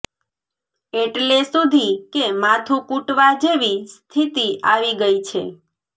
એટલે સુધી કે માથું કૂટવા જેવી સ્થિતિ આવી ગઈ છે